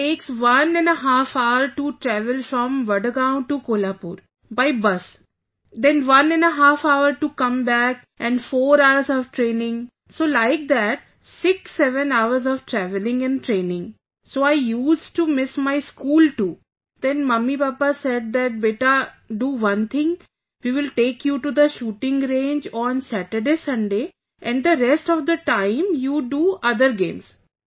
It takes one and a half hour to travel from Vadgaon to Kolhapur by bus, then one and a half hour to come back, and four hours of training, so like that, 67 hours for travelling and training, so I used to miss my school too, then MummyPapa said that beta, do one thing, we will take you to the shooting range on SaturdaySunday, and the rest of the time you do other games